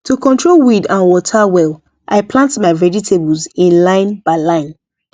to control weed and water well i plant my vegetables in line by line